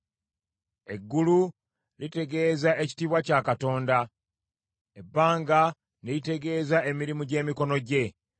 Eggulu litegeeza ekitiibwa kya Katonda, ebbanga ne litegeeza emirimu gy’emikono gye.